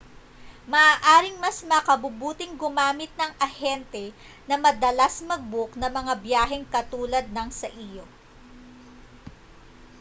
maaaring mas makabubuting gumamit ng ahente na madalas mag-book ng mga biyaheng katulad ng sa iyo